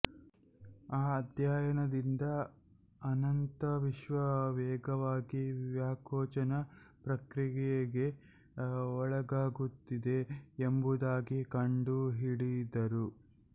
ಆ ಅಧ್ಯಯನದಿಂದ ಅನಂತವಿಶ್ವ ವೇಗವಾಗಿ ವ್ಯಾಕೋಚನ ಪ್ರಕ್ರಿಯೆಗೆ ಒಳಗಾಗುತ್ತಿದೆ ಎಂಬುದಾಗಿ ಕಂಡುಹಿಡಿದರು